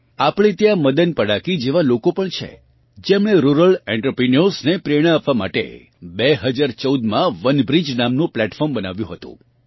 આપણાં ત્યાં મદન પડાકી જેવાં લોકો પણ છે જેમણે રુરલ એન્ટરપ્રિન્યોર્સને પ્રેરણા આપવા માટે 2014માં વનબ્રિજ નામનું પ્લેટફોર્મ બનાવ્યું હતું